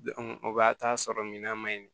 o b'a t'a sɔrɔ minan ma ɲi